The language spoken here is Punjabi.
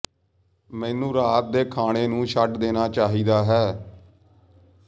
ਮੈਨੂੰ ਰਾਤ ਦੇ ਖਾਣੇ ਨੂੰ ਛੱਡ ਦੇਣਾ ਚਾਹੀਦਾ ਹੈ